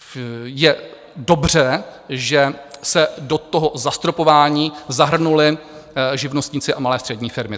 Je dobře, že se do toho zastropování zahrnuli živnostníci a malé střední firmy.